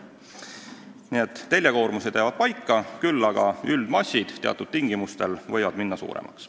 Nii et teljekoormused jäävad paika, küll aga võib üldmass teatud tingimustel minna suuremaks.